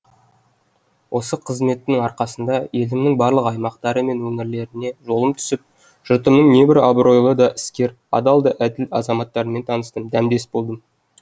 осы қызметтің арқасында елімнің барлық аймақтары мен өңірлеріне жолым түсіп жұртымның небір абыройлы да іскер адал да әділ азаматтарымен таныстым дәмдес болдым